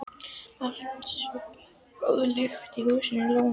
Alltaf svo góð lyktin í húsi Lúnu.